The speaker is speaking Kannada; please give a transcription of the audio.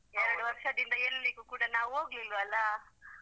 ಎರಡು ವರ್ಷದಿಂದ ಎಲ್ಲಿಗೂ ಕೂಡ ನಾವ್ ಹೋಗ್ಲಿಲ್ವಲ್ಲಾ.